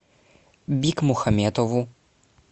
бикмухаметову